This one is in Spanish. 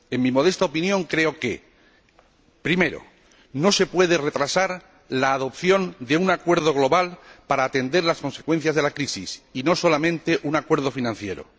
En mi modesta opinión, creo lo siguiente primero, no se puede retrasar la adopción de un acuerdo global para atender las consecuencias de la crisis, y adoptar solamente un acuerdo financiero